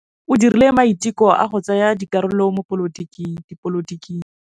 O dirile maitekô a go tsaya karolo mo dipolotiking.